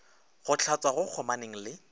go hlatswa go kgomaneng le